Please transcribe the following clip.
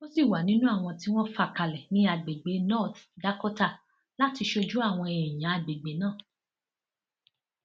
ó sì wà nínú àwọn tí wọn fà kalẹ ní àgbègbè north dakota láti ṣojú àwọn èèyàn àgbègbè náà